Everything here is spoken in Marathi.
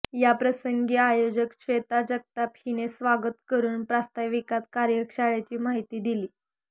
याप्रसंगी आयोजक श्वेता जगताप हिने स्वागत करून प्रास्ताविकात कार्यशाळेची माहिती दिली